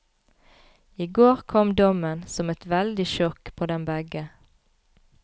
I går kom dommen, som et veldig sjokk på dem begge.